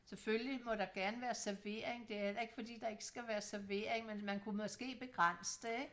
selvfølgelig må der gerne være servering det er heller ikke fordi der ikke skal være servering men man kan måske begrænse det ikke